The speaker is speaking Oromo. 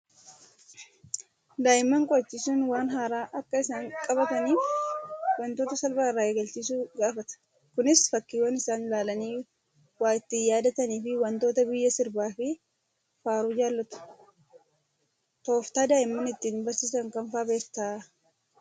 Daa'imman qo'achiisuun waan haaraa akka isaan qabataniif wantoota salphaa irraa eegalchiisuu gaafata. Kunis fakkiiwwan isaan ilaalanii waa ittiin yaadatanii fi wantoota biyya sirbaa fi faaruu jaallatu. Tooftaa daa'imman ittiin barsiisan kam fa'aa beektaa?